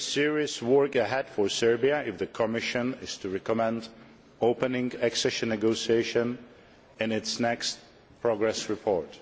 There is serious work ahead for Serbia if the Commission is to recommend opening accession negotiations in its next progress report.